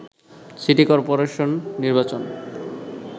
city corporation নির্বাচন